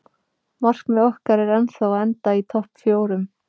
Markmið okkar er ennþá að enda í topp fjórum.